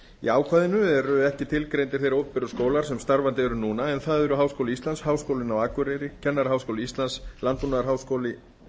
í ákvæðinu eru ekki tilgreindir þeir opinberu skólar sem starfandi eru núna en það eru háskóli íslands háskólinn á akureyri kennaraháskóli íslands landbúnaðarháskóli